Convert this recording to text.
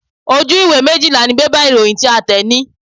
Ojú ìwé méjìlá ni bébà ìròyìn tí a tẹ̀ ní.